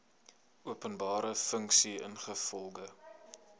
openbare funksie ingevolge